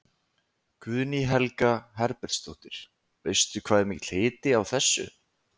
Guðný Helga Herbertsdóttir: Veistu hvað er mikill hiti á þessu?